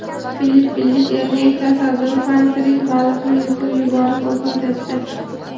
Filippinlik erkak tasodifan tirik baliqni yutib yuborib vafot etdi.